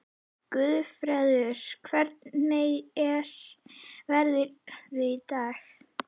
Guðfreður, hvernig er veðrið í dag?